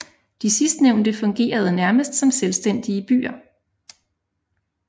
De sidstnævnte fungerede nærmest som selvstændige byer